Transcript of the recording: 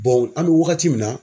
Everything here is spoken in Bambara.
an bɛ wagati min na